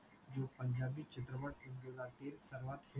जो पंजाबी चित्रपट उद्योगातील सर्वात hit